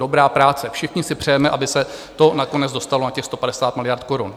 Dobrá práce, všichni si přejeme, aby se to nakonec dostalo na těch 150 miliard korun.